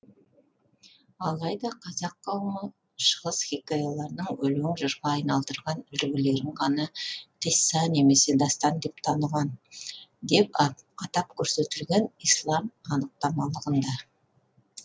алайда қазақ қауымы шығыс хикаяларының өлең жырға айналдырған үлгілерін ғана қисса немесе дастан деп таныған деп атап көрсетілген ислам анықтамалығында